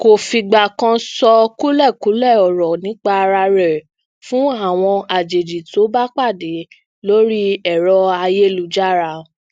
um ṣùgbọn ní ìdílé adéjọba lápapọ um àwa tá a jẹ ọlọpàá ń lọ sí bíi ogun